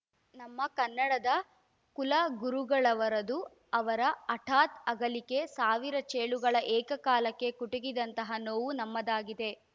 ನಮ್ಮ ಕನ್ನಡದ ಕುಲಗುರುಗಳವರದು ಅವರ ಹಠಾತ್‌ ಅಗಲಿಕೆ ಸಾವಿರ ಚೇಳುಗಳು ಏಕಕಾಲಕ್ಕೆ ಕುಟಿಕಿದಂತಹ ನೋವು ನಮ್ಮದಾಗಿದೆ